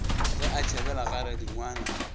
ge a tšhabela ga radingwana